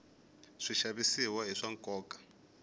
swixavisiwa i swa nkoka